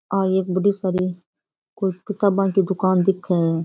आ एक कोई बड़ी साड़ी किताबे की दुकान दिखे है।